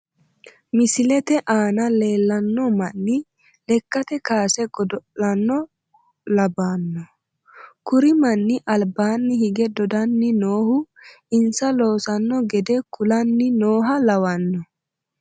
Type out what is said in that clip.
Misilete aana leellanno manni lekkate kaase godo'laano labbanno kuri manni albaanni hige dodanni noohu insa loossanno gede kulanni nooha lawanno